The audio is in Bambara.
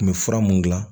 U kun bɛ fura mun dilan